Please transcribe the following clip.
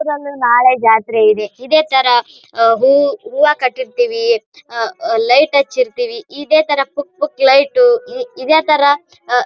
ಇಲ್ಲಿ ಒಂದು ನಾಳೆ ಜಾತ್ರೆ ಇದೆ. ಇದೆ ತಾರಾ ಹೂವ ಕಟ್ಟಿರ್ತೀವಿ ಲೈಟ್ ಹಚ್ಚಿರ್ತಿವಿ ಇದೆ ತರ ಪುಕ್ ಪುಕ್ ಲೈಟ್ ಇದೇ ತರ--